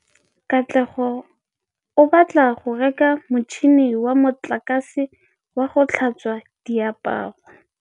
Katlego o batla go reka motšhine wa motlakase wa go tlhatswa diaparo.